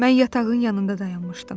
Mən yatağın yanında dayanmışdım.